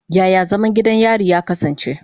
Yaya zaman gidan yari ya kasance?